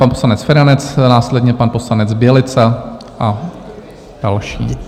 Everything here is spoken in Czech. Pan poslanec Feranec, následně pan poslanec Bělica a další.